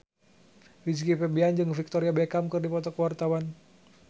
Rizky Febian jeung Victoria Beckham keur dipoto ku wartawan